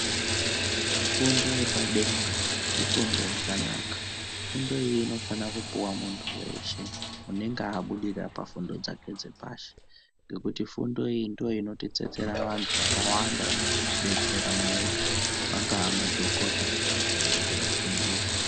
Fundo yepadenga, ifundo yakanaka. Fundo iyi inofana kupuwa muntu weshe unenge abudirira pafundo dzake dzepashi, ngekuti fundo iyi ndoinotitsetsera vantu vakawanda vanozotidestera munyika vangava madhokodheya kana kuti vafundisi.